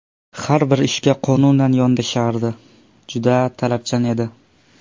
Har bir ishga qonunan yondashardi, juda talabchan edi.